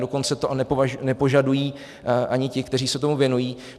Dokonce to nepožadují ani ti, kteří se tomu věnují.